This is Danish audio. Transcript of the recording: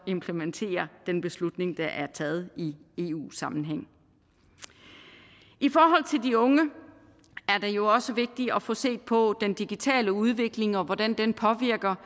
implementerer den beslutning der er blevet taget i eu sammenhæng i forhold til de unge er det jo også vigtigt at få set på den digitale udvikling og hvordan den påvirker